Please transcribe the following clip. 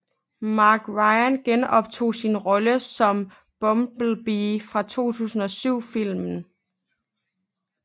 Mark Ryan genoptog sin rolle som Bumblebee fra 2007 filmen